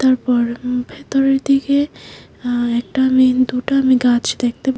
পর উ ভেতরের দিকে আ একটা আমি দুটা আমি গাছ দেখতে--